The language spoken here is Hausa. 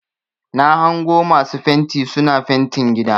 Na hango masu fenti suna fentin gida.